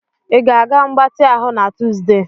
Ị ga-aga mgbatị ahụ na Tuzdee?